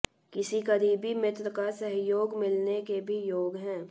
किसी करीबी मित्र का सहयोग मिलने के भी योग हैं